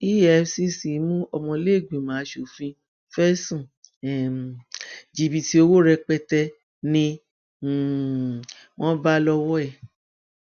efcc mú ọmọlẹẹgbìmọ asòfin fẹsùn um jìbìtì owó rẹpẹtẹ ni um wọn bá lọwọ ẹ